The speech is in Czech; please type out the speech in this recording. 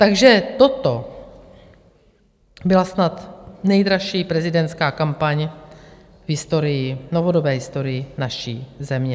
Takže toto byla snad nejdražší prezidentská kampaň v novodobé historii naší země.